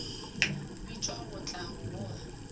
bitšwa go tla go boga